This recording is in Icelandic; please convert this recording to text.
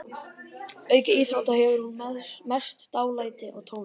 Auk íþrótta hefur hún mest dálæti á tónlist.